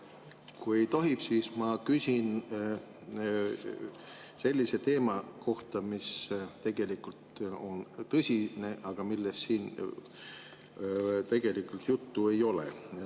Kui tohib, siis ma küsin sellise teema kohta, mis tegelikult on tõsine, aga millest siin juttu ei ole.